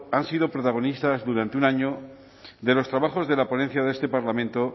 han sido protagonistas durante un año de los trabajos de la ponencia de este parlamento